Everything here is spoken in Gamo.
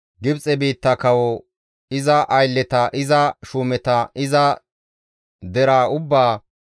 Gibxe biitta kawo, iza aylleta, iza shuumeta, iza deraa ubbaa,